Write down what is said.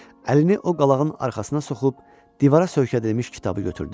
Əlini o qalağın arxasına soxub, divara söykədilmiş kitabı götürdü.